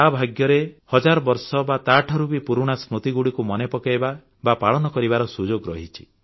ତା ଭାଗ୍ୟରେ ହଜାର ବର୍ଷ ବା ତାଠାରୁ ବି ପୁରୁଣା ସ୍ମୃତିଗୁଡ଼ିକୁ ମନେପକାଇବା ବା ପାଳନ କରିବାର ସୁଯୋଗ ରହିଛି